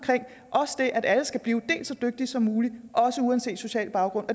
at alle skal blive så dygtige som muligt uanset social baggrund